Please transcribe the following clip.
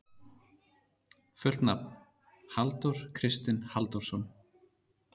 Fullt nafn: Halldór Kristinn Halldórsson.